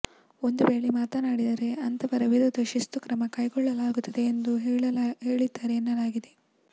ಒಂದು ವೇಳೆ ಮಾತನಾಡಿದರೆ ಅಂಥವರ ವಿರುದ್ಧ ಶಿಸ್ತು ಕ್ರಮ ಕೈಗೊಳ್ಳಲಾಗುತ್ತದೆ ಎಂದು ಹೇಳಿದ್ದಾರೆ ಎನ್ನಲಾಗಿದೆ